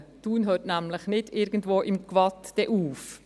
Thun hört nämlich nicht irgendwo im Gwatt auf.